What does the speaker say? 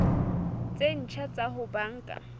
tse ntjha tsa ho banka